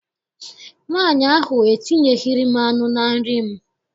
Nwaanyị ahụ etinyeghịrị m anụ na nri m.